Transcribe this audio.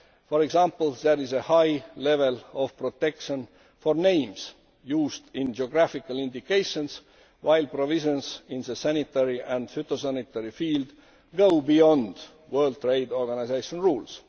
For example, there is a high level of protection for names used in geographical indications, while provisions in the sanitary and phytosanitary field go beyond World Trade Organization rules.